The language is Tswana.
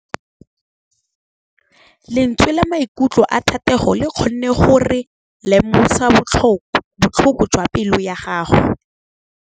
Lentswe la maikutlo a Thategô le kgonne gore re lemosa botlhoko jwa pelô ya gagwe.